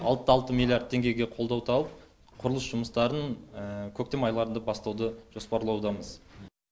алтыда алты миллиард теңгеге қолдау тауып құрылыс жұмыстарын көктем айларында бастауды жоспарлаудамыз